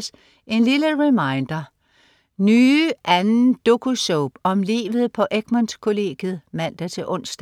15.50 En lille reminder: Nye II. dokusoap om livet på Egmont kollegiet (man-ons)